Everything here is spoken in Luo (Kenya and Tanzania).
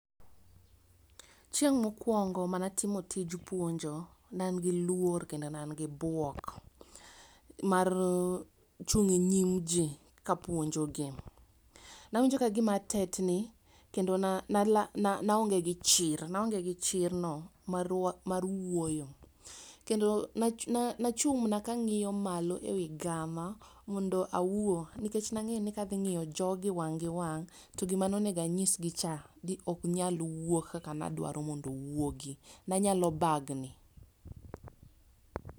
chieng' mokwongo mane atimo mane atimo tij puonjo, ne an gi luor kendo ne an gi buok mar chung' e nyim jii kapuonjo gi. Nawinjo ka gima atetni kendo na nala naonge gi chir naonge gi chirno mar wuoyo kendo na na nachung' mana kang'iyo malo ewi gama mondo awuo nikech nang'e ni kadhi ng'iyo jogi wang' gi wang' to gima nonego anyisgi cha ok nyal wuok kaka nadwaro mondo owuogi nanyalo bagni.